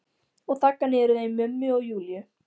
Og þagga niður í þeim mömmu og Júlíu.